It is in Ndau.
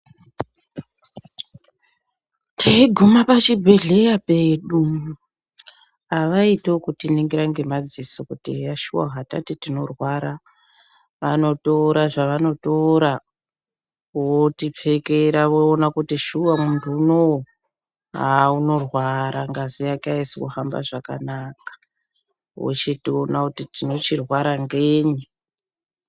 Teiguma pachibhedhleya pedu avaiti ekhtiningira ngemadziso kuti eya shuwa hatati tinorwara vano tora zvavanotora votipfekera voona kuti shuwa aaa muntu unowu unorwara ngazi yake aisi kuhamba zvakanaka vochiona kuti tinorwara ngenyi.